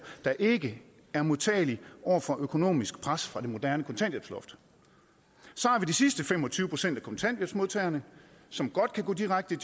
der ikke er modtagelige over for økonomisk pres fra det moderne kontanthjælpsloft så har vi de sidste fem og tyve procent af kontanthjælpsmodtagerne som godt kan gå direkte i